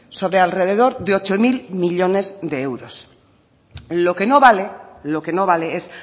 sobre alrededor de ocho mil millónes de euros lo que no vale es